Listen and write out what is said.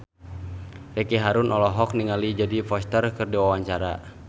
Ricky Harun olohok ningali Jodie Foster keur diwawancara